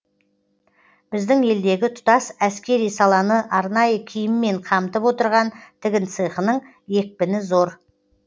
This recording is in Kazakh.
біздің елдегі тұтас әскери саланы арнайы киіммен қамтып отырған тігін цехының екпіні зор